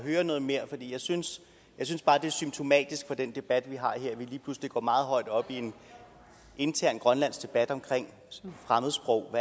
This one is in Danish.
høre noget mere for jeg synes synes bare det er symptomatisk for den debat vi har her at vi lige pludselig går meget højt op i en intern grønlandsk debat om fremmedsprog